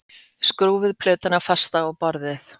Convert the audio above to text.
Skrúfið plötuna fasta á borðið